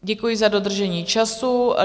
Děkuji za dodržení času.